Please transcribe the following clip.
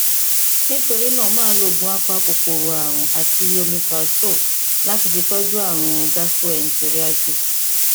nítorí náà máa lo oògùn apakòkòrò ààrùn àti omeprazole láti fi tọjú ààrùn gastroenteritis